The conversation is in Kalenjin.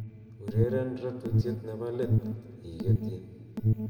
ureren ratutiet nebo leet igetyi